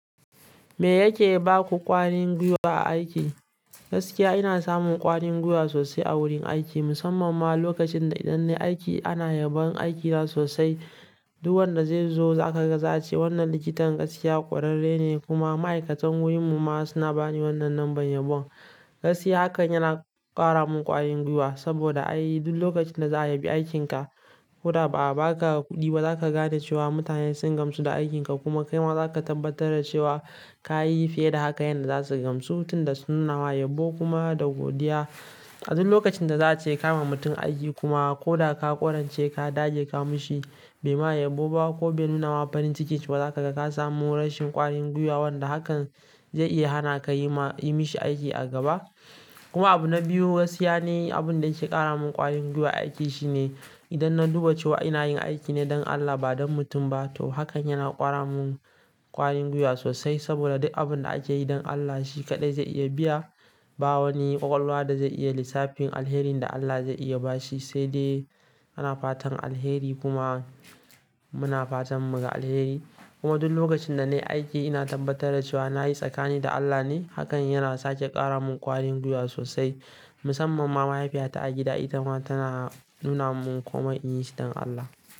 Me yake ba ku ƙwarin gwiwa a aiki? Gaskiya ina samun ƙwarin gwiwa sosai a wurin aiki musamman ma lokacin da idan nayu aiki ana yabon aikina sosai. Duk wanda zai zo za ka ga za'a ce wannan likitan gaskiya ƙwararre ne kuma ma'aikatan wurin mu ma suna bani wannan lambar yabon. Gaskiya hakan yana kara mun ƙwarin gwiwa saboda ai duk lokacin da za a yabi aikinka ko da ba a ba ka kuɗi ba zaka gane cewa mutane sun gamsu da aikinka kuma kai ma za ka tabbatar da cewa ka yi fiye da haka yanda za su gamsu tin da sun nuna ma yabo kuma da godiya. A duk lokacin da za a ce kama mutum aiki kuma ko da ka ƙwarance ka dage ka mishi bai ma yabo ba ko bai nuna wa farin ciki ba za ka ga ka samu rashin ƙwarin gwiwa wanda hakan zai iya hana ka yi ma-- yi mishi aiki a gaba. Kuma abu na biyu gaskiya ni abun da yake ƙara min ƙwarin gwiwa a aiki shine idan na duba cewa ina yin aiki ne don Allah ba don mutum ba to hakan yana ƙara mun ƙwarin gwiwa sosai saboda duk abin da ake yi don Allah shi kaɗai zai iya biya ba wani ƙwaƙwalwa da zai iya lissafin alherin da Allah zai iya ba shi sai dai muna fatan alheri kuma muna fatan mu ga alheri. Kuma duk lokacin da na yi aiki ina tabbatar da cewa na yi tsakanina da Allah ne hakan yana sake ƙara mun ƙwarin gwiwa sosai musamman ma mahaifiyata a gida ita ma tana nuna mun kuma in yi shi don Allah.